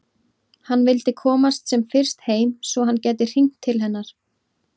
Hann vildi komast sem fyrst heim svo að hann gæti hringt til hennar.